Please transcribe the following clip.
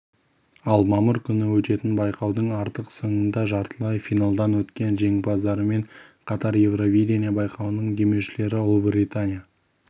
ал мамыр күні өтетін байқаудың ақтық сынында жартылай финалдан өткен жеңімпаздармен қатар евровидения байқауының демеушілері ұлыбритания